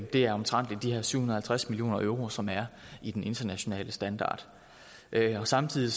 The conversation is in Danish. det er omtrent de her syv hundrede og halvtreds million euro som er i den internationale standard samtidig